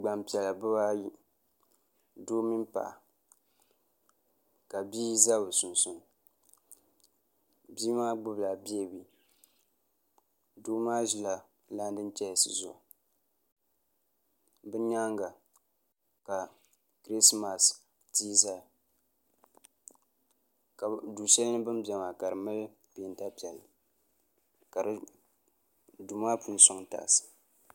Gban piɛla bɛ pŋbaa ayi doo mini paɣa ka ʒɛya ka bii maa gbubila beebi doo maa ʒila laanin chɛɛsi zuɣu bɛ nyaaŋa ka du shɛli ni bin bɛ maa ka di mali peenta piɛlli ka duu maa puuni mali taals